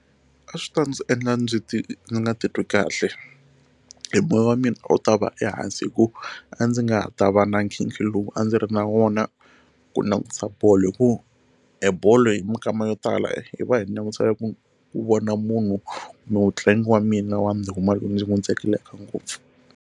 A swi ta ndzi endla ndzi ti ndzi nga titwi kahle e moya wa mina a wu ta va ehansi hikuva a ndzi nga ta va na nkhinkhi lowu a ndzi ri na wona ku langutisa bolo hi ku e bolo hi minkama yo tala hi va hi langutisela ku vona munhu mutlangi wa mina wa ndhuma loyi ndzi n'wi tsakelaka ngopfu.